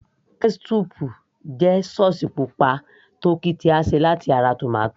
ketchup jẹ́ sauce pupa tó ki tí a ṣe láti ara tomato